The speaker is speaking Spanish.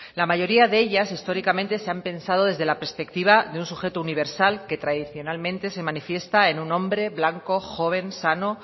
la mayoría de ellas históricamente se han pensado desde la perspectiva de un sujeto universal que tradicionalmente se manifiesta en un hombre blanco joven sano